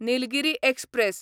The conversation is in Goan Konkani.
निलगिरी एक्सप्रॅस